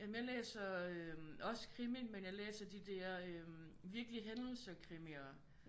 Jamen jeg læser også krimi men jeg læser de der virkelige hændelser krimier